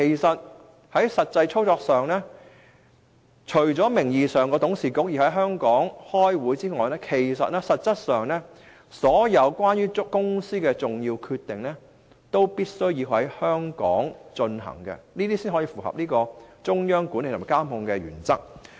在實際操作上，除了名義上董事會要在香港舉行會議外，所有公司的重要決定都必須在香港進行，才可以符合中央管理及控制的原則。